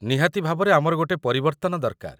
ନିହାତି ଭାବରେ ଆମର ଗୋଟେ ପରିବର୍ତ୍ତନ ଦରକାର ।